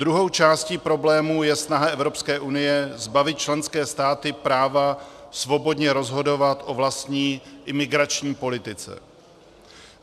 Druhou částí problému je snaha Evropské unie zbavit členské státy práva svobodně rozhodovat o vlastní imigrační politice.